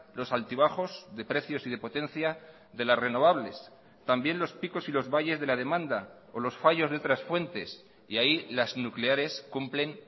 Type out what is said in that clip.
los altibajos de precios y de potencia de las renovables también los picos y los valles de la demanda o los fallos de otras fuentes y ahí las nucleares cumplen